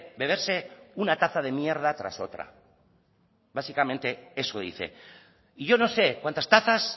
beberse una taza de mierda tras otra y yo no sé cuántas tazas